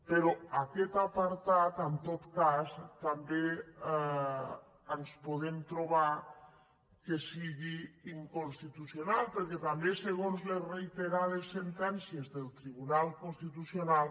però aquest apartat en tot cas també ens podem trobar que sigui inconstitucional perquè també segons les reiterades sentències del tribunal constitucional